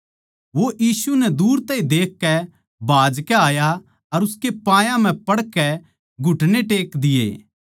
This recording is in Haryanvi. वो यीशु नै दूर तै ए देखकै भाजकै आया उसके पायां म्ह पड़ ग्या